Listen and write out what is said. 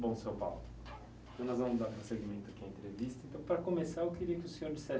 Bom, seu, então nós vamos dar para o prosseguimento aqui à entrevista. Então, para começar, eu queria que o senhor dissesse